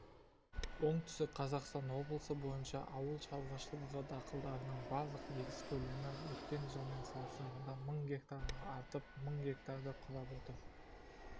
оңтүстік қазақстан облысы бойынша ауыл шаруашылығы дақылдарының барлық егіс көлемі өткен жылмен салыстырғанда мың гектарға артып мың гектарды құрап отыр деп